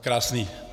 Krásný.